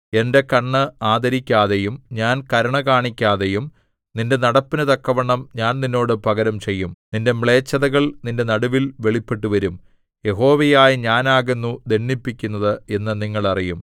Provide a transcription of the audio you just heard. എന്റെ കണ്ണ് ആദരിക്കാതെയും ഞാൻ കരുണ കാണിക്കാതെയും നിന്റെ നടപ്പിനു തക്കവണ്ണം ഞാൻ നിന്നോട് പകരം ചെയ്യും നിന്റെ മ്ലേച്ഛതകൾ നിന്റെ നടുവിൽ വെളിപ്പെട്ടുവരും യഹോവയായ ഞാനാകുന്നു ദണ്ഡിപ്പിക്കുന്നത് എന്ന് നിങ്ങൾ അറിയും